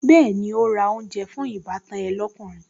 Bẹ́ẹ̀ni, ó ra oúnjẹ fún ìbátan ẹ lókùnrin